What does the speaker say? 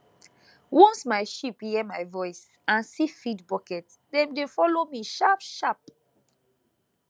once my sheep hear my voice and see feed bucket dem dey follow me sharp sharp